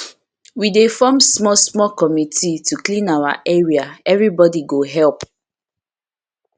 we dey form small committee to clean our area everybody go help